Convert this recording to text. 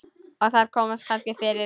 Og þar komast kannski fyrir